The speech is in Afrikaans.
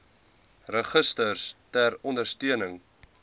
registers ter ondersteuning